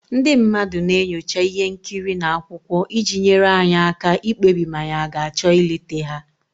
Ndị mmadụ na-enyocha ihe nkiri na akwụkwọ iji nyere anyị aka ikpebi ma anyị ga-achọ ịlete ha.